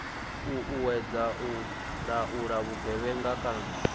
uuwedzwa u laula vhugevhenga kana